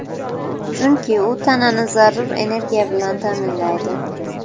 Chunki u tanani zarur energiya bilan ta’minlaydi.